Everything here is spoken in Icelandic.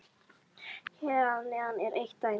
Hér að neðan er eitt dæmi: